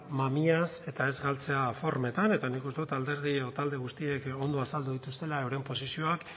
mamiaz eta ez galtzea formetan eta nik uste dut alderdi edo talde guztiek ondo azaldu dituztela euren posizioak